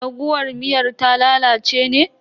Raguwar miyar ta lalace ne?